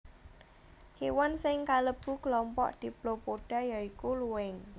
Kéwan sing kalebu klompok Diplopoda ya iku luwing